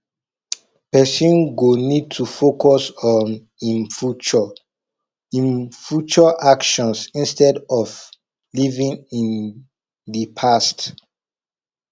person go need to focus on im future im future actions instead of living in the past